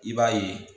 I b'a ye